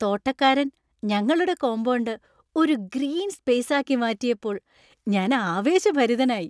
തോട്ടക്കാരൻ ഞങ്ങളുടെ കോമ്പൗണ്ട് ഒരു green space ആക്കി മാറ്റിയപ്പോൾ ഞാൻ ആവേശഭരിതനായി.